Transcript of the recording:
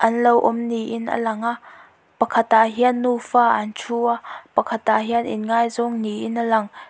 anlo awm niin a lang a pakhat ah hian nufa an thu a pakhat ah hian in ngaizawng niin a lang.